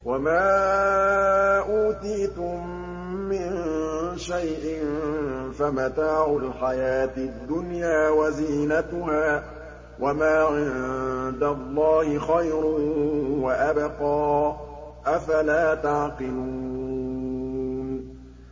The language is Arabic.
وَمَا أُوتِيتُم مِّن شَيْءٍ فَمَتَاعُ الْحَيَاةِ الدُّنْيَا وَزِينَتُهَا ۚ وَمَا عِندَ اللَّهِ خَيْرٌ وَأَبْقَىٰ ۚ أَفَلَا تَعْقِلُونَ